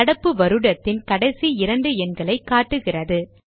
நடப்பு வருடத்தின் கடைசி இரண்டு எண்களை காட்டுகிறது